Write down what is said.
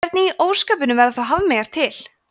hvernig í ósköpunum verða þá hafmeyjar til